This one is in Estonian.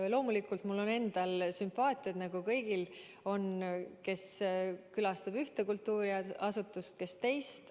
Loomulikult mul on endal sümpaatiad, nagu kõigil on: kes külastavad rohkem ühte kultuuriasutust, kes teist.